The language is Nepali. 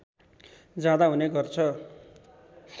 जाँदा हुने गर्छ